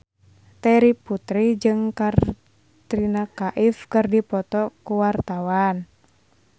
Terry Putri jeung Katrina Kaif keur dipoto ku wartawan